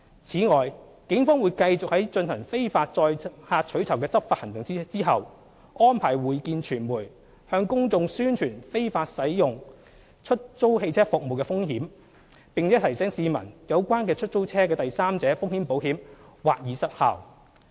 此外，警方會繼續在進行非法載客取酬的執法行動後，安排會見傳媒，向公眾宣傳使用非法出租汽車服務的風險，並提醒市民有關出租車的第三者風險保險或已失效。